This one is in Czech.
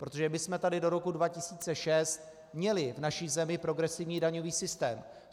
Protože my jsme tady do roku 2006 měli v naší zemi progresivní daňový systém.